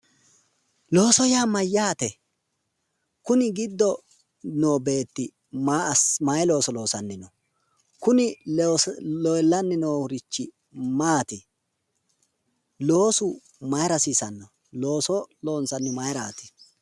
looso yaa mayyaate?, kuni giddo noo beetti maayi looso loosanni no?, kuni leellanni noorichi maati?, looso mayira hasiisanno?, looso loonsannihu mayiiraati?